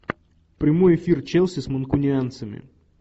прямой эфир челси с манкунианцами